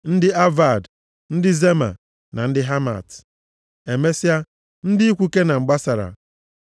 ndị Avad, ndị Zema na ndị Hamat. Emesịa, ndị ikwu Kenan gbasara,